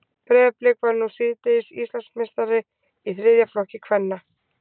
Breiðablik varð nú síðdegis Íslandsmeistari í þriðja flokki kvenna.